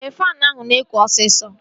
Ee, faanụ ahụ na-ekụ osisọ